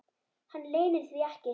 Hann leynir því ekki.